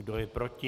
Kdo je proti?